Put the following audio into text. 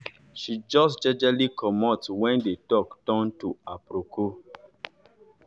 she jus jejely comot wen d talk turn to aproko